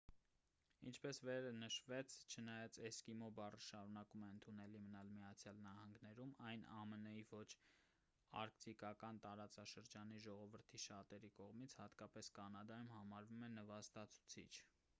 ինչպես վերը նշվեց չնայած էսկիմո բառը շարունակում է ընդունելի մնալ միացյալ նահանգներում այն ամն-ի ոչ արկտիկական տարածաշրջանի ժողովրդի շատերի կողմից հատկապես կանադայում համարվում է նվաստացուցիչ